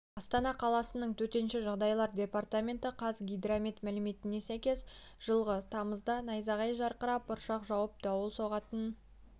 астана қаласының төтенше жағдайлар департаменті қазгидромет мәліметтеріне сәйкес жылғы тамызда найзағай жарқырап бұршақ жауып дауыл соғатынын